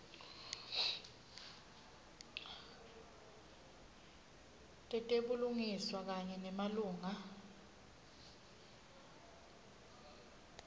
tetebulungiswa kanye nemalunga